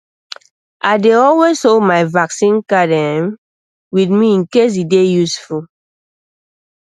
i dey always hold my vaccine card ehm with me in case e dey useful